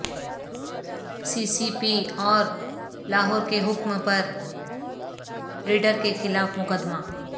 سی C P O Lahore کے حکم پر ریڈر کیخلاف مقدمہ